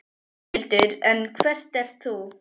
Þórhildur: En hver ert þú?